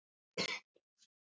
Æfingin búin!